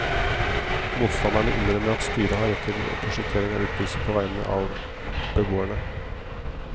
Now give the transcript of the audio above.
Motstanderne innrømmer at styret har rett til prosjektering av utbyggelse på veiene av beboerne.